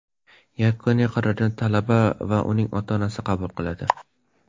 Yakuniy qarorni talaba va uning ota-onasi qabul qiladi.